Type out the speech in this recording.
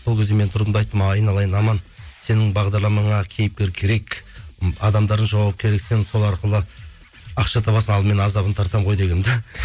сол кезде мен тұрдым да айттым айналайын аман сенің бағдарламаңа кейіпкер керек м адамдардан жауап керек сен сол арқылы ақша табасың ал мен азабын тартамын ғой дегенмін де